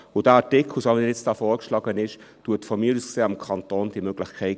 Der Artikel, wie er hier vorgeschlagen wird, gibt aus meiner Sicht dem Kanton diese Möglichkeit.